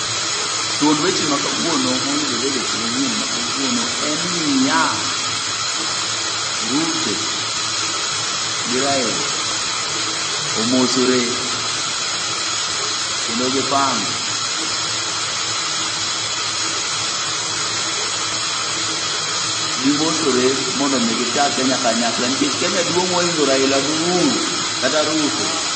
Thuond weche ma kawuono moyudore e weche manyien ma kawuono en niya! Ruto gi Raila omosore, kendo gipango. Gimosore mondo mi gita Kenya kanyakla nikech Kenya duong' moingo Raila go Ouru, kata Ruto.